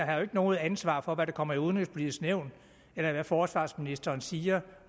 har noget ansvar for hvad der kommer i udenrigspolitisk nævn eller hvad forsvarsministeren siger